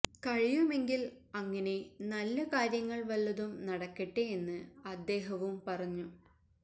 കഴിയുമെങ്കില് അങ്ങനെ നല്ല കാര്യങ്ങള് വല്ലതും നടക്കട്ടെ എന്ന് അദ്ദേഹവും പറഞ്ഞു